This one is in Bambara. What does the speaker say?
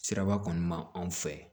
Siraba kɔni ma anw fɛ